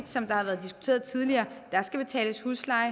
som der har været diskuteret tidligere at der skal betales husleje